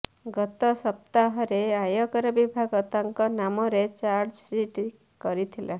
ଗତ ସପ୍ତାହରେ ଆୟକର ବିଭାଗ ତାଙ୍କ ନାମରେ ଚାର୍ଜଶିଟ୍ କରିଥିଲା